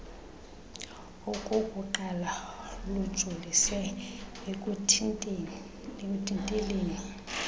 okokuqala lujolise ekuthinteleni